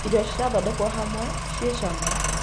Irio cirathondekwo hamwe ci cama.